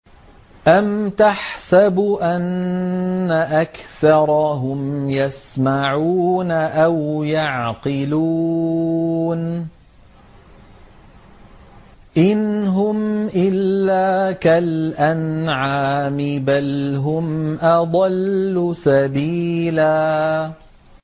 أَمْ تَحْسَبُ أَنَّ أَكْثَرَهُمْ يَسْمَعُونَ أَوْ يَعْقِلُونَ ۚ إِنْ هُمْ إِلَّا كَالْأَنْعَامِ ۖ بَلْ هُمْ أَضَلُّ سَبِيلًا